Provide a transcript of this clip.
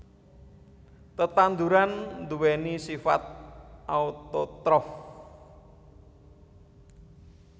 Tetanduran nduwèni sifat autotrof